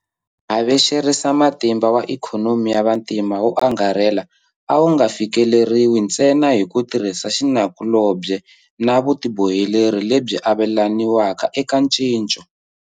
Havexerisamatimba wa ikhonomi ya vantima wo angarhela a wu nga fikeleriwi ntsena hi ku tirhisa xinakulobye na vutiboheleri lebyi avelaniwaka eka ncinco.